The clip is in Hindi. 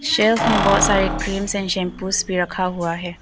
शेल्फ में बहोत सारे क्रीम्स एंड शैंपू भी रखा हुआ है।